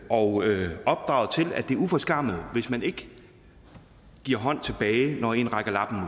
og opdraget til at det er uforskammet hvis man ikke giver hånd tilbage når en rækker labben